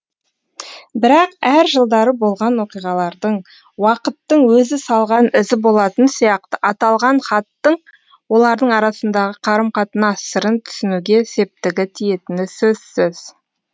бірақ әр жылдары болған оқиғалардың уақыттың өзі салған ізі болатын сияқты аталған хаттың олардың арасындағы қарым қатынас сырын түсінуге септігі тиетіні сөзсіз